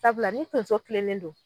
Sabula ni tonso tilennen don